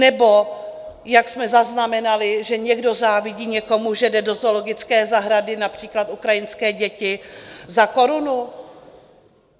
Nebo, jak jsme zaznamenali, že někdo závidí někomu, že jde do zoologické zahrady, například ukrajinské děti, za korunu?